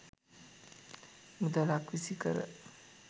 මුදලක් විසිකර